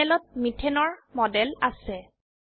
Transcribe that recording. প্যানেলত methane methane এৰ model আছে